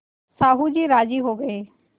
साहु जी राजी हो गये